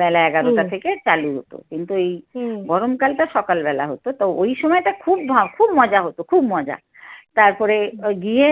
বেলা এগারোটা থেকে চালু হত কিন্তু এই গরমকালটা সকালবেলা হত। তো ওই সময়টা খুব ভা, খুব মজা হতো খুব মজা। তারপরে ওই গিয়ে